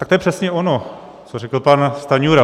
Tak to je přesně ono, co řekl pan Stanjura.